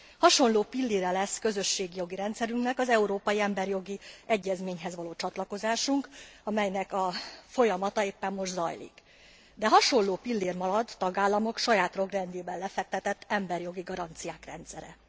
Hasonló pillére lesz közösségi jogi rendszerünknek az Európai Emberi Jogi Egyezményhez való csatlakozásunk, amelynek a folyamata éppen most zajlik, de hasonló pillér marad a tagállamok saját jogrendjében lefektetett emberi jogi garanciák rendszere.